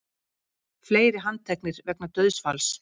Fleiri handteknir vegna dauðsfalls